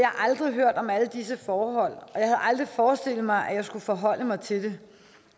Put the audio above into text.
aldrig hørt om alle disse forhold og jeg havde aldrig forestillet mig at jeg skulle forholde mig til det